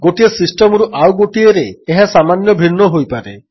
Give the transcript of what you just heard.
ଗୋଟିଏ ସିଷ୍ଟମ୍ରୁ ଆଉ ଗୋଟିଏରେ ଏହା ସାମାନ୍ୟ ଭିନ୍ନ ହୋଇପାରେ